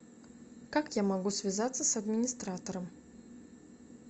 как я могу связаться с администратором